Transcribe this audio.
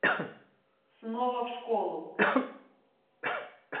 снова в школу